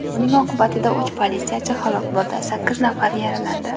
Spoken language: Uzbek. Buning oqibatida uch politsiyachi halok bo‘ldi, sakkiz nafari yaralandi.